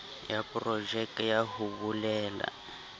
ya projeke ka hoo bolela